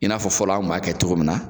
I n'afɔ fɔlɔ an kun m'a kɛ cogo min na